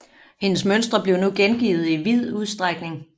Hendes mønstre blev nu gengivet i vid udstrækning